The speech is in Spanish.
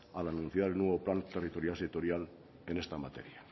al anunciar el nuevo plan territorial sectorial en esta materia